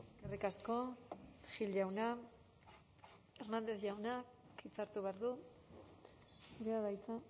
eskerrik asko gil jauna hernández jauna hitza hartu behar du zurea da hitza